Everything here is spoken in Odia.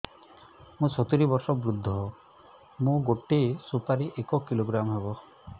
ମୁଁ ସତୂରୀ ବର୍ଷ ବୃଦ୍ଧ ମୋ ଗୋଟେ ସୁପାରି ଏକ କିଲୋଗ୍ରାମ ହେବ